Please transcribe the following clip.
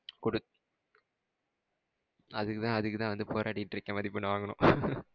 குடுத் அதுக்குதான் வந்து போராடிகிட்டு இருக்கேன். மதிப்பெண் வாங்கணும்.